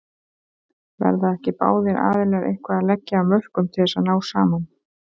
Verða ekki báðir aðilar eitthvað að leggja af mörkum til þess að ná saman?